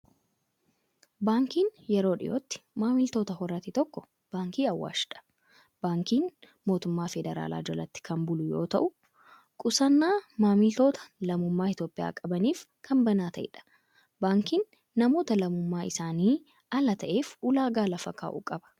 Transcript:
Baankiin yeroo dhiyootti maamiltoota horate tokko Baankii Awaashidha. Baankiin mootummaa Fedraalaa jalatti kan bulu yoo tau, qusannaa maamiltoota lammummaa Itoophiyaa qabaniif kan banaa ta'edha. Baankiin namoota lamummaan isaanii ala ta'eef ulaagaa lafa kaa'u qaba.